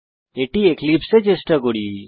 এটি এক্লিপসে এ চেষ্টা করি